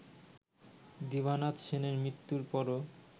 দিবানাথ সেনের মৃত্যুর পরও